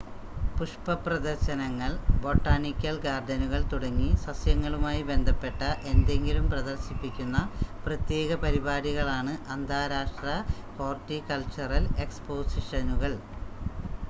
പുഷ്‌പ പ്രദർശനങ്ങൾ ബൊട്ടാണിക്കൽ ഗാർഡനുകൾ തുടങ്ങി സസ്യങ്ങളുമായി ബന്ധപ്പെട്ട എന്തെങ്കിലും പ്രദർശിപ്പിക്കുന്ന പ്രത്യേക പരിപാടികളാണ് അന്താരാഷ്ട്ര ഹോർട്ടികൾച്ചറൽ എക്സ്‌പോസിഷനുകൾ